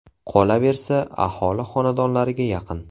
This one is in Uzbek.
Qolaversa, aholi xonadonlariga yaqin.